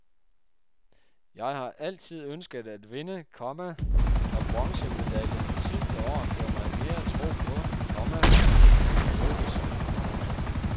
Jeg har altid ønsket at vinde, komma og bronzemedaljen sidste år gav mig mere tro på, komma at det kunne lykkes. punktum